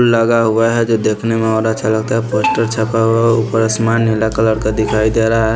लगा हुआ है जो देखने में और अच्छा लगता है पोस्टर छपा हुआ है ऊपर आसमान नीला कलर का दिखाई दे रहा है।